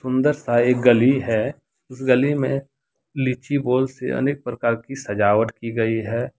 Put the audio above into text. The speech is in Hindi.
सुंदर सा एक गली है इस गली में लीची बल्ब से अनेक प्रकार की सजावट की गई है।